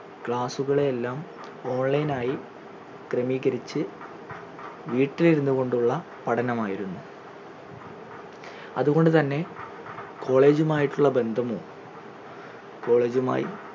class ഉകളെയെല്ലാം online ആയി ക്രമീകരിച്ചു വീട്ടിൽ ഇരുന്നു കൊണ്ടുള്ള പഠനമായിരുന്നു അതുകൊണ്ടു തന്നെ college ഉം ആയിട്ടുള്ള ബന്ധമോ college ഉമായി